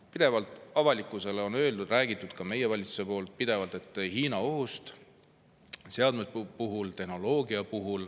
Pidevalt on avalikkusele räägitud – ka meie valitsus on seda teinud – Hiina ohust seadmete ja tehnoloogia puhul.